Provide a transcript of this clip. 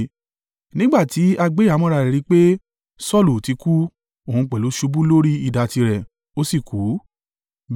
Nígbà tí agbé-ìhámọ́ra rí pé Saulu ti kú, òhun pẹ̀lú ṣubú lórí idà tirẹ̀, ó sì kú.